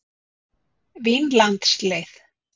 Vínlandsleið